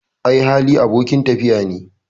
Ai Hali, abokin tafiya ne